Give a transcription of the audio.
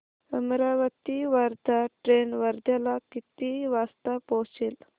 Amravati Wardha train वर्ध्याला किती वाजता पोहचेल